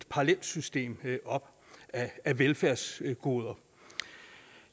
parallelt system af velfærdsgoder